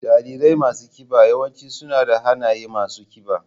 Jarirai masu kiba yawanci suna da hannaye masu kiba.